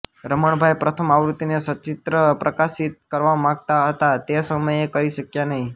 રમણભાઈ પ્રથમ આવૃત્તિને સચિત્ર પ્રકાશિત કરવા માંગતા હતા પણ તે સમયે કરી શક્યા નહિ